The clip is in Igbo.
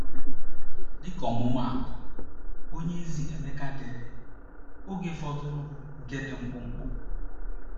Dịka ọmụmaatụ, onyeozi Emeka dere: “Oge fọdụrụ bụ nke dị mkpụmkpụ.”